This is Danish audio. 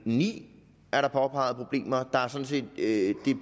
ni er der påpeget problemer